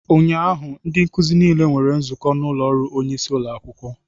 Ụnyaahụ ndị nkuzi niile nwere nzukọ n'ụlọ ọrụ onyeisi ụlọ akwụkwọ